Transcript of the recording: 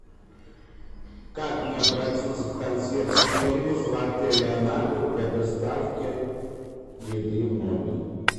как мне обратиться в консьерж сервис в отеле анапа для доставки еды в номер